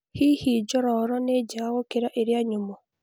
Hihi cheese njororo nĩ njega gũkĩra iria nyũmũ?